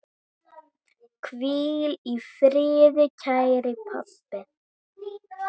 Hvíl í friði, kæri pabbi.